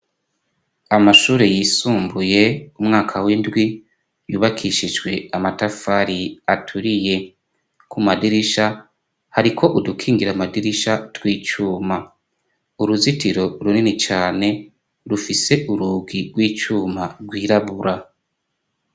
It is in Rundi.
Amashure yisumbuye umwaka w'indwi yubakishijwe amatafari aturiye. Ku madirisha hariko udukingira amadirisha tw'icuma. Uruzitiro runini cane, rufise urugi rw'icuma, rwirabura.